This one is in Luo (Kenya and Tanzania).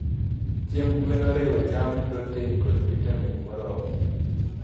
chiemb gwen oriwo cham, protein, kod vitamin moromo.